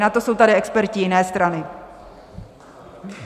Na to jsou tady experti jiné strany.